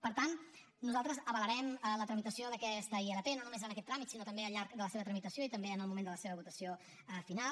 per tant nosaltres avalarem la tramitació d’aquesta ilp no només en aquest tràmit sinó també al llarg de la seva tramitació i també en el moment de la seva votació final